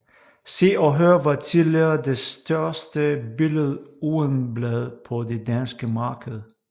Se og Hør var tidligere det største billedugeblad på det danske marked